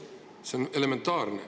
See on elementaarne.